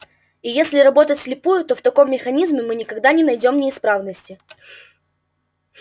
и если работать вслепую то в таком механизме мы никогда не найдём неисправности